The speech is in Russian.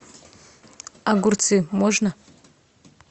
огурцы можно